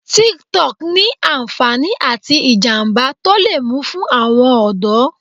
Tik-Tok ní ànfàní àti ìjàmbá tó le mú fún àwọn ọ̀dọ́.